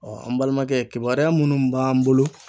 an balimakɛ kibaruya munnu b'an bolo